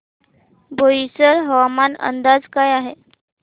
बोईसर हवामान अंदाज काय आहे